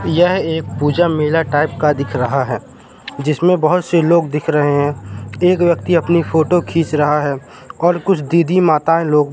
यहा एक पूजा मेला टाइप का दिख रहा है जिसमें बहोत से लोग दिख रहे हैं एक व्यक्ति अपनी फोटो खींच रहा है और दीदी माताये लोग--